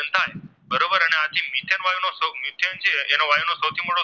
વાયુનો સૌથી મોટો